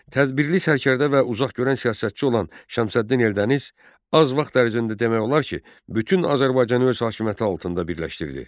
Tədbirli sərkərdə və uzaqgörən siyasətçi olan Şəmsəddin Eldəniz az vaxt ərzində demək olar ki, bütün Azərbaycanı öz hakimiyyəti altında birləşdirdi.